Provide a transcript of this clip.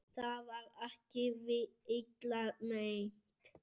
Það var ekki illa meint.